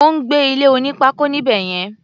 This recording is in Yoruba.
Ó ń gbé ilé oní pákó níbẹ̀ yẹn.